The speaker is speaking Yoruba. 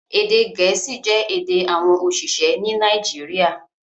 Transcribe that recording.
Èdè gẹ̀ẹ́sì jẹ́ èdè àwọn oṣiṣẹ ní Nàìjíríà